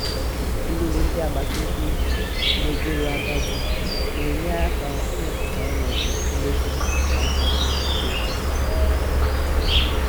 ịlele ndị agbata obi megọlụ agadi na-enyere aka ịmepụta ọnọdụ nlekọta na nkwado nkwado obodo.